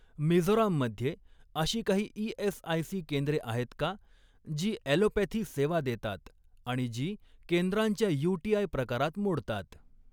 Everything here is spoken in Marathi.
मिझोराम मध्ये अशी काही ई.एस.आय.सी केंद्रे आहेत का जी ऍलोपॅथी सेवा देतात आणि जी केंद्रांच्या यूटीआय प्रकारात मोडतात?